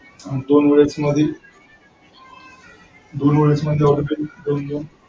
दोन वेळेस मध्ये दोन वेळेस